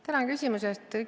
Tänan küsimuse eest!